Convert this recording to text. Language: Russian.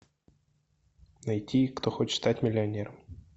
найти кто хочет стать миллионером